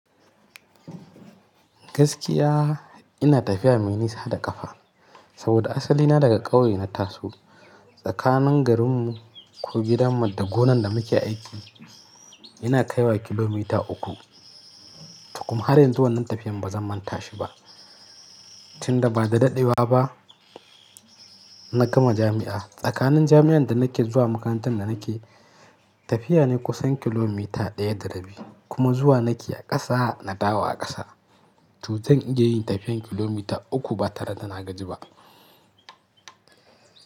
Gaskiya ina tafiya mai nisa da ƙafa saboda asali na daga ƙauye na Taso. Tsakanin garinmu ko gidanmu da gonan da muke aiki ina kaiwa kilomita uku. Kuma har yanzu wannan tafiyan ba zan manta shi ba, tunda ba da daɗewa ba na gama jami'a. Tsakanin jami'an da nake zuwa makarantar da nake tafiya ne kusan kilomita ɗaya da rabi kuma zuwa nake a ƙasa na dawo a ƙasa. Tun zan iya yin tafiyan kilomita uku ba tare da na gaji ba.